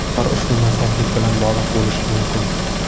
Ular ushbu nosozlik bilan bog‘liq bo‘lishi mumkin.